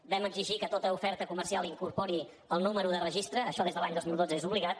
vam exigir que tota oferta comercial incorporés el número de registre això des de l’any dos mil dotze és obligat